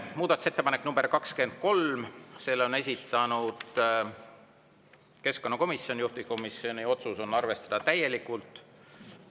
Muudatusettepanek nr 23, selle on esitanud keskkonnakomisjon, juhtivkomisjoni otsus on arvestada täielikult.